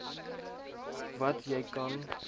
wat jy kan